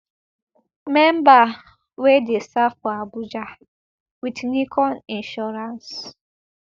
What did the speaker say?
memberv wey dey serve for abuja wit nicon insurance